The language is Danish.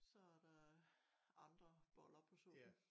Så er der andre boller på suppen